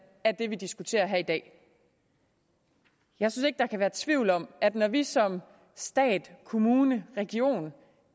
er det vi diskuterer her i dag jeg synes ikke der kan være tvivl om at når vi som stat kommune region